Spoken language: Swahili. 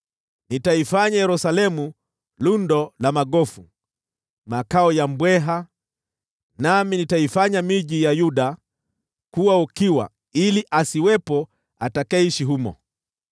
“Nitaifanya Yerusalemu lundo la magofu, makao ya mbweha; nami nitaifanya miji ya Yuda kuwa ukiwa ili asiwepo atakayeishi humo.”